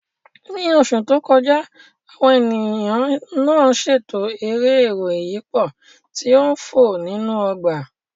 Ní oṣù tó kọjá, àwọn ènìyàn náà ṣètò eré ẹ̀rọ ìyípo tí ń fò nínú ọgbà